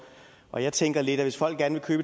og jeg tænker lidt at hvis folk gerne vil